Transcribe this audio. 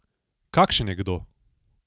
Kakšen je kdo?